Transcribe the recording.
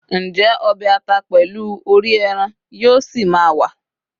njé obe ata pèlú òrí eran yíò sí ma wa